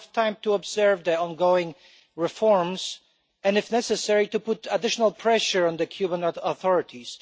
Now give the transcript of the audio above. So, we have time to observe the ongoing reforms and, if necessary, to put additional pressure on the Cuban authorities.